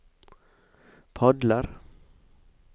padler